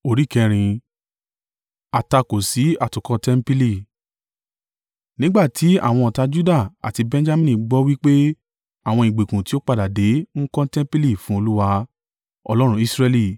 Nígbà tí àwọn ọ̀tá Juda àti Benjamini gbọ́ wí pé àwọn ìgbèkùn tí ó padà dé ń kọ́ tẹmpili fún Olúwa, Ọlọ́run Israẹli,